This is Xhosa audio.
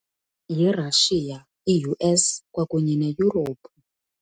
YiRussia, i-U_S kwakunye neYurophu.